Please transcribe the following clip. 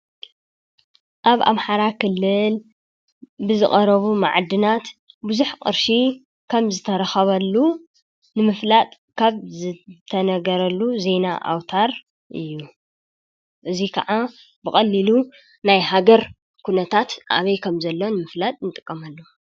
ኣብ ኣምሓራ ኽለል ብዝቐረቡ መዓድናት ብዙኅ ቕርሺ ከም ዝተረኸበሉ ንምፍላጥ ካብ ዝተነገረሉ ዘይና ኣውታር እዩ እዙይ ከዓ ብቐሊሉ ናይ ሃገር ኲነታት ኣበይ ከም ዘለ ንምፍላጥ ንጥቀመሉ፡፡